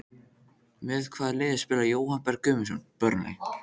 Með hvaða liði spilar Jóhann Berg Guðmundsson?